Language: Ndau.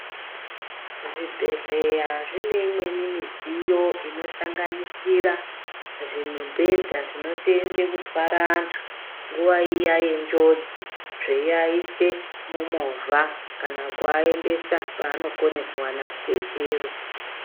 Zvibhedhlera zvine imweni midziyo inosanganisira zvimibhedha zvinoseenza kurwara antu nguwa iya yenjodzi eiaisa mumovha kana kuaendesa paanokona kuwana rubetsero.